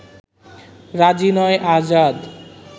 রাজি নয় আজাদ